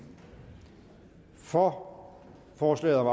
for forslaget om